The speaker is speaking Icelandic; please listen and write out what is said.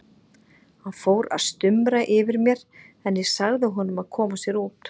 Hann fór að stumra yfir mér en ég sagði honum að koma sér út.